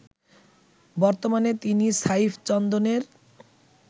বর্তমানে তিনি সাইফ চন্দনের